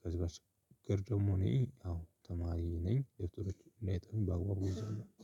ከዚህ ባሻገር ደግሞ እኔ አዎ ተማሪ ነኝ በጥሩ ሁኔታ በአገባቡ።